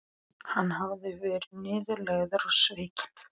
Hann hafði verið niðurlægður og svikinn.